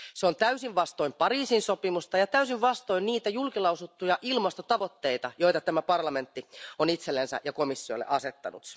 Se on täysin vastoin Pariisin sopimusta ja täysin vastoin niitä julkilausuttuja ilmastotavoitteita, joita tämä parlamentti on itsellensä ja komissiolle asettanut.